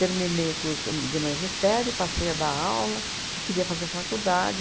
Terminei o curso de magistério, passei a dar aula e queria fazer faculdade.